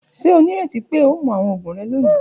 Ṣe o nireti pe o mu awọn oogun rẹ loni?.